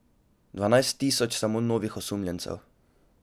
Dvanajst tisoč samo novih osumljencev?